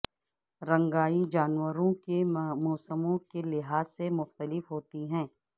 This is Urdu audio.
رنگائ جانوروں کے موسموں کے لحاظ سے مختلف ہوتی ہے